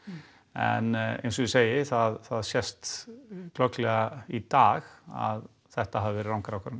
en eins og ég segi það það sést glögglega í dag að þetta hafi verið rangar ákvarðanir